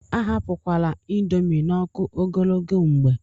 Ahapụkwala índomi n'ọkụ ogologo mgbe.